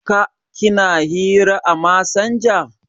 Ka/ ki na hira à masanja?